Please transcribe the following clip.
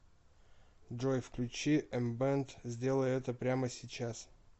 джой включи эмбэнд сделай это прямо сейчас